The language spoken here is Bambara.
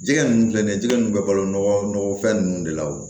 Jɛgɛ ninnu filɛ nin ye jɛgɛ ninnu bɛ balo nɔgɔ fɛn nunnu de la